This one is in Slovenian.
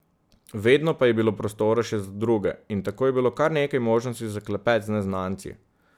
Vedno pa je bilo prostora še za druge in tako je bilo kar nekaj možnosti za klepet z neznanci.